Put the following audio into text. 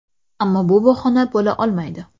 Ammo bu bahona bo‘la olmaydi.